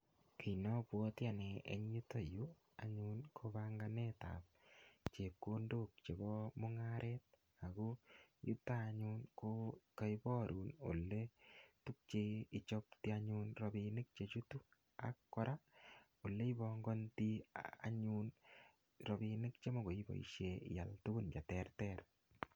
Kinabwoti anne en yuto yu anyun ko panganet ab chepkondok chebo mungaret ago yuto anyun ko kaibarun ole tukche ichoptoi anyun rapinik che chutu ak rapinik che chutu ak oleipongondoi anyun rapinik chemokoiboisien rapinik cheterter.